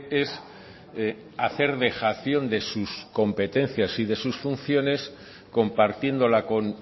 es hacer dejación de sus competencias y de sus funciones compartiéndola con